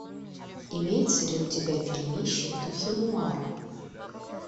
имеется ли у тебя фильмище в духе нуара